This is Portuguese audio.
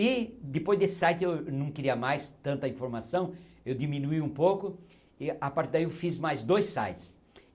E, depois desse site, eu não queria mais tanta informação, eu diminuí um pouco e, a partir daí, eu fiz mais dois sites.